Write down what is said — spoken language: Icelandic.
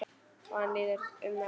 Og hann líður um þá.